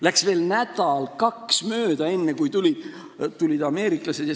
Läks veel nädal-kaks mööda, enne kui seda tegid ameeriklased.